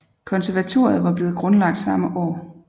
Konservatoriet var blevet grundlagt samme år